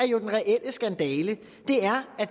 jo den reelle skandale det er at